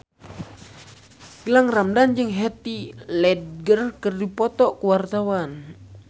Gilang Ramadan jeung Heath Ledger keur dipoto ku wartawan